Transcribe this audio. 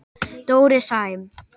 Dóri Sæm.